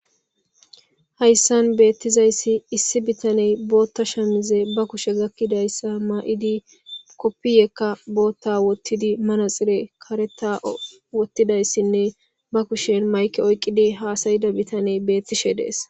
Hayssan beettizayssi issi bitaney bootta shamize ba kushe gakkidayssa maa'idi koppiyekka bootta wottidi manaxire kareta wottidayssinne ba kushen mayke oyqqidi haasayida bitaney beettishe dees.